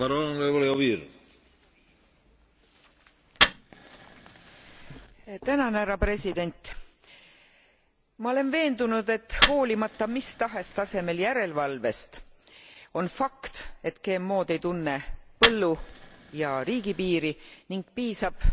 Ma olen veendunud, et hoolimata mis tahes tasemel järelvalvest, on fakt, et GMOd ei tunne põllu ja riigipiiri ning piisab inimese väikesest veast, et rikkuda looduslik tasakaal, mis